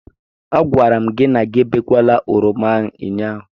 A gwara m gi na gị ebekwala oroma ahụ ụnyaahụ.